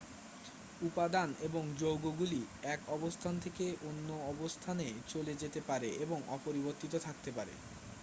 উপাদান এবং যৌগগুলি এক অবস্থান থেকে অন্য অবস্থানে চলে যেতে পারে এবং অপরিবর্তিত থাকতে পারে